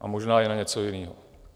A možná i na něco jiného.